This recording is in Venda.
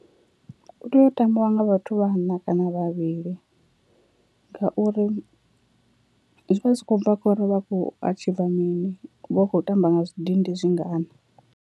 U tea u tambiwa nga vhathu vhaṋa kana vhavhili, ngauri zwi vha zwi khou bva khori vha kho atshiva mini vha khou tamba nga zwidindi zwingana.